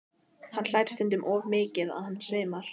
Hann hlær stundum svo mikið að hann svimar.